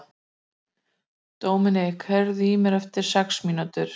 Dominik, heyrðu í mér eftir sex mínútur.